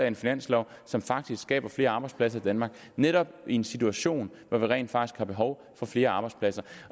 en finanslov som faktisk skaber flere arbejdspladser i danmark netop i en situation hvor vi rent faktisk har behov for flere arbejdspladser